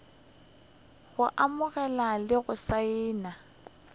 go amogela le go saena